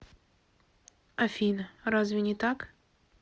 афина разве не так